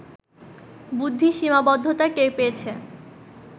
বুদ্ধির সীমাবদ্ধতা টের পেয়েছে